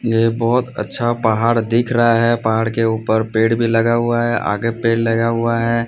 ये बहुत अच्छा पहाड़ दिख रहा है पहाड़ के ऊपर पेड़ भी लगा हुआ है आगे पेड़ लगा हुआ है।